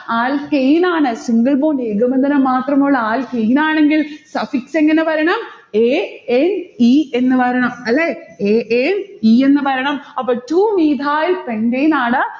alkane ആണ്. single bond ഏകബന്ധനം മാത്രമുള്ള alkane ആണെങ്കിൽ suffix എങ്ങനെ വരണം? a n e എന്ന് വരണം. അല്ലെ? a n e എന്ന് വരണം. അപ്പോൾ two methyl pentane ആണ്.